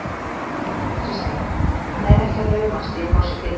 Kristján: Hann er ekki að laumast í að fá sér bita?